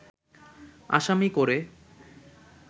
আসামি করে